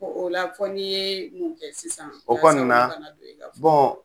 o la fɔ ni yee mun kɛ sisan yaasa kana don i ka foro o kɔni na